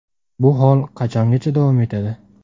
Bu hol qachongacha davom etadi?